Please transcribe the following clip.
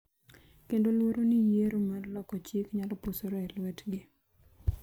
kendo luoro ni yiero mar loko chik nyalo posore e lwetgi,